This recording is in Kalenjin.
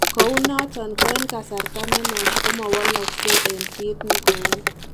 Kounoton ko en kasarta ne nuach komawalalksei en kiit ne gouu